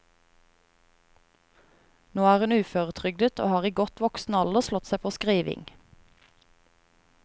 Nå er hun uføretrygdet, og har i godt voksen alder slått seg på skriving.